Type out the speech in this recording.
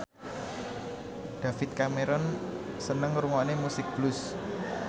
David Cameron seneng ngrungokne musik blues